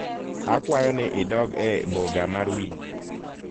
akwayo ni idog e boga mar winjo